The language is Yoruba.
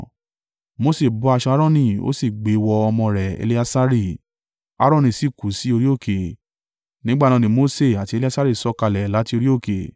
Mose bọ́ aṣọ Aaroni ó sì gbe wọ ọmọ rẹ̀ Eleasari, Aaroni sì kú sí orí òkè. Nígbà náà Mose àti Eleasari sọ̀kalẹ̀ láti orí òkè,